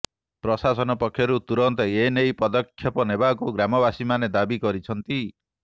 ପ୍ରଶାସନ ପକ୍ଷରୁ ତୁରନ୍ତ ଏନେଇ ପଦକ୍ଷେପ ନେବାକୁ ଗ୍ରାମବାସୀମାନେ ଦାବି କରିଛନ୍ତି